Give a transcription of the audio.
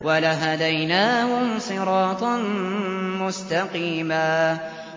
وَلَهَدَيْنَاهُمْ صِرَاطًا مُّسْتَقِيمًا